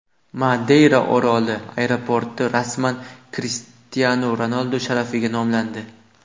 Madeyra oroli aeroporti rasman Krishtianu Ronaldu sharafiga nomlandi.